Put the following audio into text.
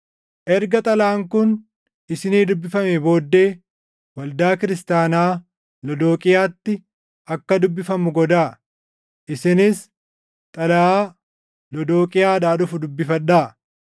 Erga xalayaan kun isinii dubbifamee booddee waldaa Kiristaanaa Lodooqiyaatti akka dubbifamu godhaa; isinis xalayaa Lodooqiyaadhaa dhufu dubbifadhaa.